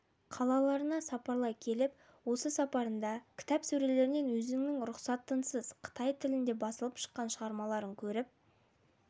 қалаларына сапарлай келіп осы сапарында кітап сөрелерінен өзінің рұқсатынсыз қытай тілінде басылып шыққан шығармаларын көріп